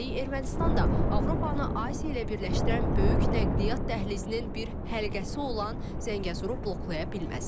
Üstəlik Ermənistan da Avropanı Asiya ilə birləşdirən böyük nəqliyyat dəhlizinin bir həlqəsi olan Zəngəzuru bloklaya bilməz.